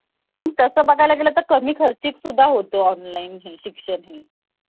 tubewell खाली बसून अस आंघोळ करणे आणि हसत हसत घरी पळत येणे. असा आमच्या दिवसाची सुरुवात असायची.